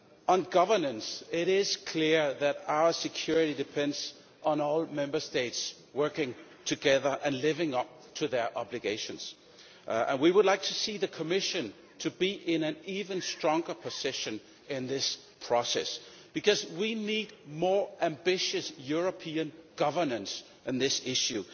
On governance it is clear that our security depends on all Member States working together and living up to their obligations. We would like to see the Commission in an even stronger position in this process because we need more ambitious European governance on this issue.